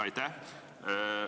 Aitäh!